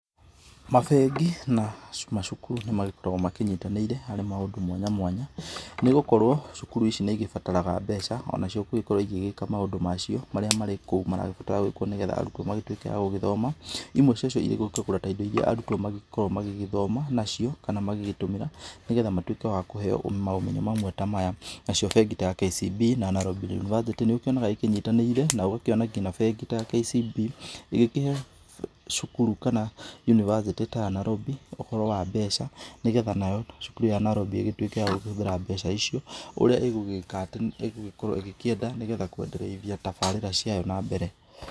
Mabengi na macukuru nĩ magĩkoragwo makĩnyitanĩire harĩ maũndũ mwanya mwanya, nĩ gũkorwo cukuru nĩ igĩbataraga mbeca o nacio gũgĩkorwo igĩgĩka maũndũ macio marĩa marĩ kou maragĩbatara gũgĩkwo nĩgetha arutwo magĩtuke a gũgĩthoma, imwe cia cio irĩ gũkĩgũra ta indo iria arutwo magĩkoragwo magĩgĩthoma nacio kana magĩgĩtũmĩra nĩgetha magĩtuke wa kũheo maũmenyo mamwe ta maya, nacio bengi ta ya KCB na Nairobi University nĩ ũkĩonaga ĩkĩnyitanĩra na ũgakĩona nginya bengi ta ya KCB ĩgĩkĩhe cukuru kana university ta ya Nairobi, ũhoro wa mbeca nĩgetha nayo cukuru ĩyo ta ya Nairobi ĩgĩtuĩke ya kũhũthĩra mbeca icio ũrĩa ĩgũgĩkorwo ĩgĩkĩenda nĩgetha kwenderithia tabarĩra ciayo na mbere.